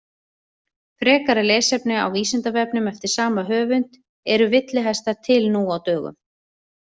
Frekara lesefni á Vísindavefnum eftir sama höfund: Eru villihestar til nú á dögum?